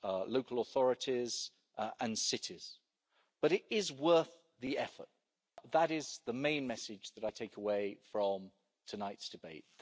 local authorities and cities, but it is worth the effort. That is the main message that I take away from tonight's debate.